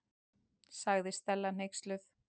sagði Stella hneyksluð.